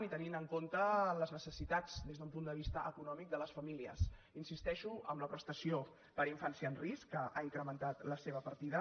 i tenint en compte les necessitats des d’un punt de vista econòmic de les famílies hi insisteixo amb la prestació per a infància en risc que ha incrementat la seva partida